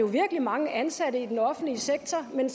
virkelig mange ansatte i den offentlige sektor men